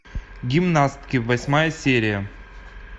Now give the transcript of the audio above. гимнастки восьмая серия